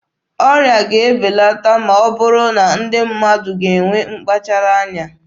Ọrịa ga-ebelata ma ọ bụrụ na ndị mmadụ ga-enwe mkpachara anya.